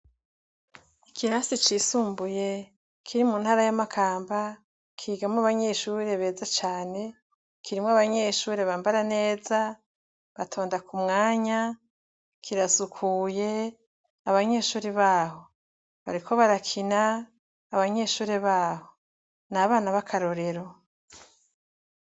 Iki rasi cisumbuye kiri mu ntara y'amakamba kigamwo abanyeshuri beza cane kirimwo abanyeshuri bambara neza batonda ku mwanya kirasukuye abanyeshuri baho bariko barakina abanyeshuri baho n a banab akarorero.